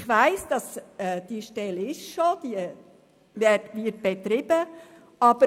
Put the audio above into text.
Ich weiss, dass diese Stelle schon besteht und betrieben wird.